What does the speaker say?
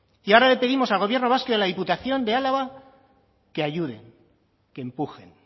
y ahora le pedimos al gobierno vasco y a la diputación de álava que ayuden que empujen